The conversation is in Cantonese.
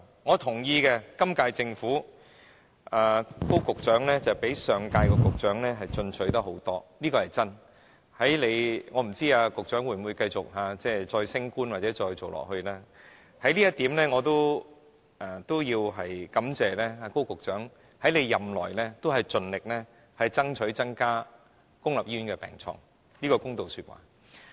我同意，今屆政府高局長相比上任局長進取很多，這點是真的，我不知道局長會否繼續升職或再連任，我也要感謝高局長在任內盡力爭取增加公立醫院的病床，這是公道說話。